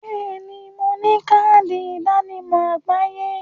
Bẹẹ ni, mo ní káàdì ìdánimọ̀ àgbáyé